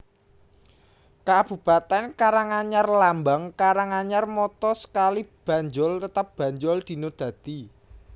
Kabupatèn KaranganyarLambang KaranganyarMotto Sekali Banjol Tetap Banjol Dina Dadi